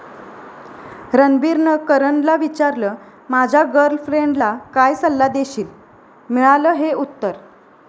रणबीरनं करणला विचारलं, माझ्या गर्लफ्रेंडला काय सल्ला देशील?, मिळालं हे उत्तर